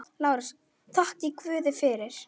LÁRUS: Þakkið guði fyrir.